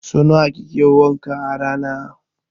So nawa kike wanka a rana?